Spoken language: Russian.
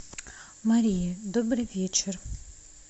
мария добрый вечер